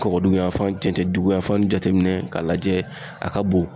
Kɔgɔdugu yan fan cɛncɛn dugu yan fan jateminɛ k'a lajɛ a ka bon.